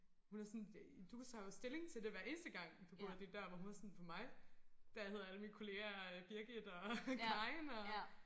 Hun er sådan du tager jo stilling til det hver eneste gang du går ud af din dør hvor hun var sådan for mig der hedder alle mine kollegaer Birgit og Karin og